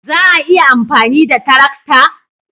Za a iya amfani da tarakta?